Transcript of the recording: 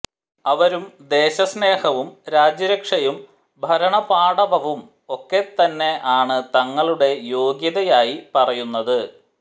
അവരും ദേശസ്നേഹവും രാജ്യരക്ഷയും ഭരണപാടവവും ഒക്കെതന്നെ ആണ് തങ്ങളുടെ യോഗ്യതയായി പറയുന്നത്